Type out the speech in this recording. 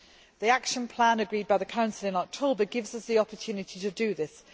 The action plan agreed by the Council in October gives us the opportunity to do this.